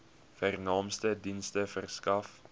vernaamste dienste verskaf